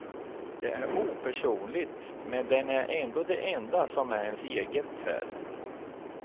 Det är opersonligt, men den är ändå det enda som är ens eget här.